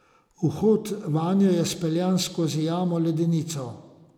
Vhod vanjo je speljan skozi jamo Ledenico.